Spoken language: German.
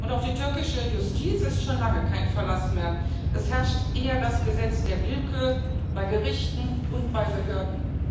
Auf die türkische Justiz ist schon lange kein Verlass mehr es herrscht eher das Gesetz der Willkür bei Gerichten und bei Behörden.